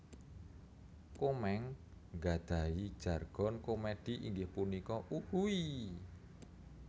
Komeng nggadhahi jargon komedi inggih punika Uhuiiii